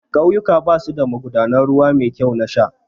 Ƙauyuka basu da magudanan ruwa mai kyau na sha